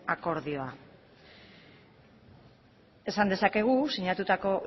akordioa esan dezakegu sinatutako